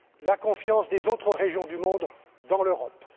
la confiance des autres régions du monde dans l'Europe.